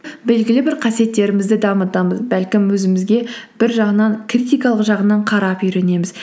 белгілі бір қасиеттерімізді дамытамыз бәлкім өзімізге бір жағынан критикалық жағынан қарап үйренеміз